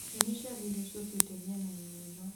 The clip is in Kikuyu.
nyonia ciathĩ iria ciũkĩte mĩena-inĩ ĩno